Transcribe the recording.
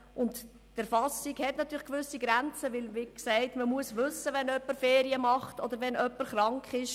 Die Erfassung stösst an gewisse Grenzen, da man wissen muss, wann jemand Ferien macht oder krank ist.